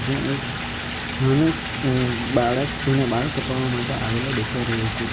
ત્યાં એક નાનો જ અં બાળક તેના બાલ કપાવવા માટે આવેલો દેખાય રહ્યો છે.